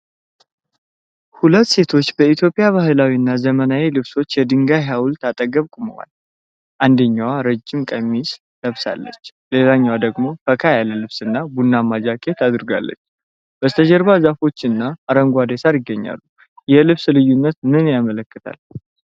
ሁለት ሴቶች በኢትዮጵያ ባህላዊ እና ዘመናዊ ልብሶች የድንጋይ ሐውልት አጠገብ ቆመዋል። አንደኛዋ ረጅም ነጭ ቀሚስ ለብሳለች። ሌላኛዋ ደግሞ ፈካ ያለ ልብስና ቡናማ ጃኬት አድርጋለች። በስተጀርባ ዛፎች እና አረንጓዴ ሳር ይገኛሉ። የልብስ ልዩነት ምን ያመለክታል?